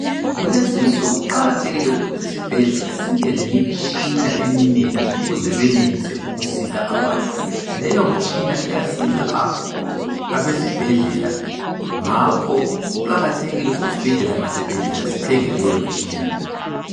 Kulezinsuku kuqakathekile ukuthi isibhedlela sibe lemitshina eminengi ukuze benelise ukusiza abantu. Leyo mitshina iyasiza abesibhedlela, ngakho kuqakathekile ukuthi abesibhedlela ngasibhedlela sithenge leyo mtshina.